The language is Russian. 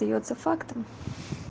остаётся фактом